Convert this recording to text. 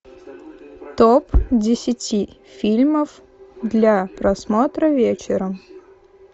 топ десяти фильмов для просмотра вечером